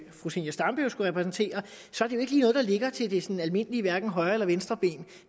fru zenia stampe jo skulle repræsentere så er det noget der ligger til det sådan almindelige højre eller venstreben